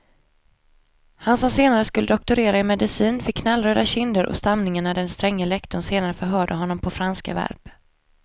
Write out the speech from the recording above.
Han som senare skulle doktorera i medicin fick knallröda kinder och stamningar när den stränge lektorn senare förhörde honom på franska verb.